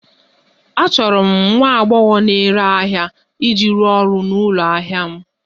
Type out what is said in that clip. Achọrọ m nwa agbọghọ na-ere ahịa iji rụọ ọrụ n'ụlọ ahịa m